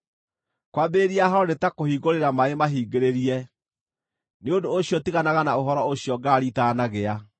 Kwambĩrĩria haaro nĩ ta kũhingũrĩra maaĩ mahingĩrĩrie; nĩ ũndũ ũcio tiganaga na ũhoro ũcio ngarari itaanagĩa.